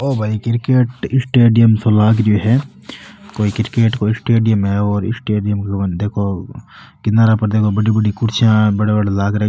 ओ भाई cricket stadium सो लाग रो है कोई क्रिकेट का स्टेडियम है और स्टेडियम को देखो किनारा पार बड़ी बड़ी कुर्सियां किनारा पर लाग रखे --